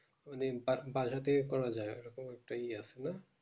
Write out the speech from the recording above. বাধা থেকে করা যাই এটা একটা ইয়ে ছিল